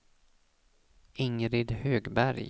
Ingrid Högberg